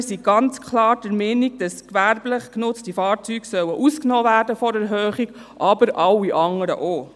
Wir sind ganz klar der Meinung, dass gewerblich genutzte Fahrzeuge von der Erhöhung ausgenommen werden sollen, aber alle anderen auch.